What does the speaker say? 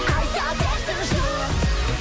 айта берсін жұрт